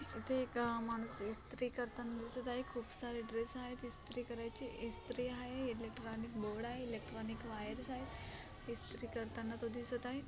इथे एक माणूस इस्त्री करताना दिसत आहे खूप सारे ड्रेस आहेत इस्त्री करायचे इस्त्री आहे एलेक्ट्रोनिक बोर्ड आहे एलेक्ट्रोनिक वायर्स आहेत. इस्त्री करताना तो दिसत आहे.